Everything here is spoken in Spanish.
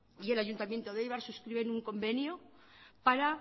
y el ayuntamiento de eibar suscriben un convenio para